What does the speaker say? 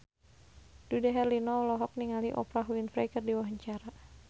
Dude Herlino olohok ningali Oprah Winfrey keur diwawancara